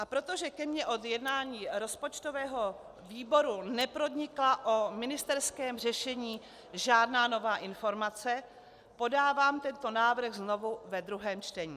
A protože ke mně od jednání rozpočtového výboru nepronikla o ministerském řešení žádná nová informace, podávám tento návrh znovu ve druhém čtení.